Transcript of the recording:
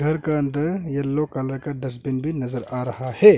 घर का अंदर येलो कलर का डस्टबिन भी नजर आ रहा है।